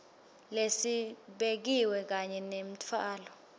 lesibekiwe kanye nemtfwalo